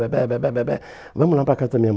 Vamos lá para a casa da minha